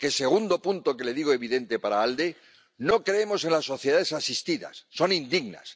Porque el segundo punto que le digo es evidente para el Grupo ALDE no creemos en las sociedades asistidas. Son indignas.